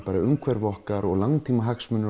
umhverfi okkar og langtímahagsmuni